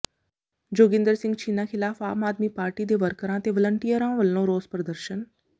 ਜੋਗਿੰਦਰ ਸਿੰਘ ਛੀਨਾ ਿਖ਼ਲਾਫ਼ ਆਮ ਆਦਮੀ ਪਾਰਟੀ ਦੇ ਵਰਕਰਾਂ ਤੇ ਵਲੰਟੀਅਰਾਂ ਵੱਲੋਂ ਰੋਸ ਪ੍ਰਦਰਸ਼ਨ